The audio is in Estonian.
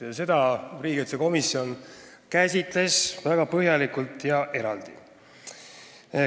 Neid käsitles riigikaitsekomisjon väga põhjalikult ja eraldi.